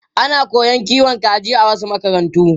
Ana koyon kiwon kaji a wasu makarantu.